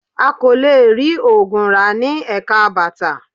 A kò lè rí oògùn rà ní Ẹ̀ka bàtà